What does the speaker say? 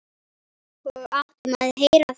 Og áttum að heyra það.